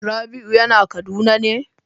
Rabiu yana kaduna ne?'